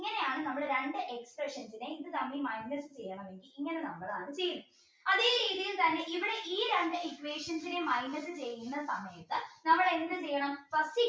ഇങ്ങനെയാണ് നമ്മൾ രണ്ട് equations നെ അത് തമ്മിൽ minus ചെയ്യണമെങ്കിൽ ഇങ്ങനെ ചെയ്യും അതേ രീതിയിൽ തന്നെ ഇവിടെ ഈ രണ്ട് equations നെയും minus ചെയ്യുന്ന സമയത്ത് നമ്മൾ എന്ത് ചെയ്യണം